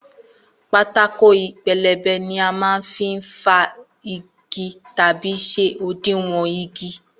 Pátákó pelebe ni a n má fin fa igi tàbí ṣe òdiwọ̀n igi